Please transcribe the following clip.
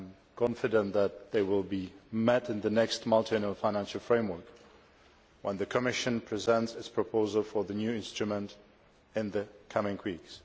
I am confident that they will be met in the next Multiannual Financial Framework when the Commission presents its proposals for the new instruments in the coming weeks.